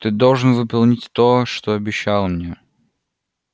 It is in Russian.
ты должен выполнить то что обещал мне